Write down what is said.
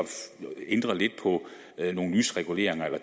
ændre lidt på nogle lysreguleringer eller